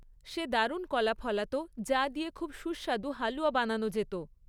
সে দারুণ কলা ফলাত, যা দিয়ে খুব সুস্বাদু হালুয়া বানানো যেত।